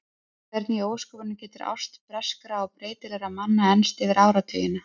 Hvernig í ósköpunum getur ást breyskra og breytilegra manna enst yfir áratugina?